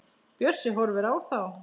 Bjössi horfir á þá.